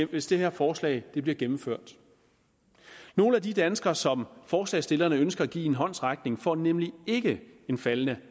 hvis det her forslag bliver gennemført nogle af de danskere som forslagsstillerne ønsker at give en håndsrækning får nemlig ikke en faldende